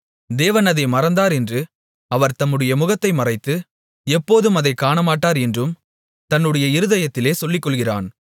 தேவன் அதை மறந்தார் என்று அவர் தம்முடைய முகத்தை மறைத்து எப்போதும் அதைக் காணமாட்டார் என்றும் தன்னுடைய இருதயத்திலே சொல்லிகொள்ளுகிறான்